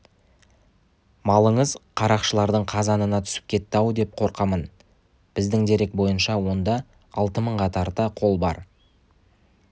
малыңыз қарақшылардың қазанына түсіп кетті-ау деп қорқамын біздің дерек бойынша онда алты мыңға тарта қол бар